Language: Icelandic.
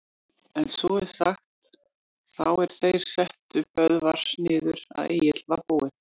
En svo er sagt, þá er þeir settu Böðvar niður, að Egill var búinn